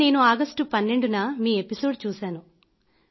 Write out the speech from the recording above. sir నేను 12 ఆగస్టున మీ ఎపిసోడ్ చూశాను